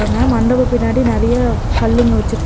அங்க மண்டபோ பின்னாடி நெறைய கல்லுங்க வெச்சிருக்கா--